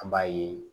An b'a ye